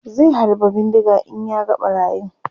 zai halba bindiga in ya ga ɓarayin